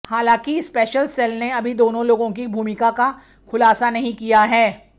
हालांकि special cell ने अभी दोनों लोगों की भूमिका का खुलासा नहीं किया है